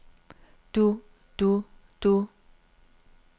du du du